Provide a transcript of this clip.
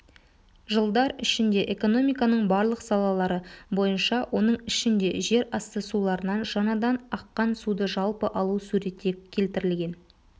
жылдар ішінде экономиканың барлық салалары бойынша оның ішінде жерасты суларынан жаңадан аққан суды жалпы алу суретте келтірілген